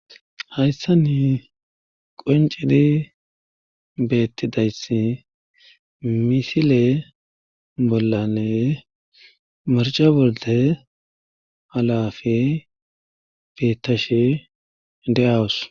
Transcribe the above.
hayssani qoncidi beettidayss misile bollane marca bolde halafe beettashe de7awus